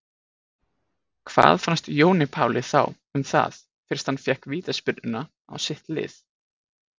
Hvað fannst Jóni Páli þá um það fyrst hann fékk vítaspyrnuna á sitt lið?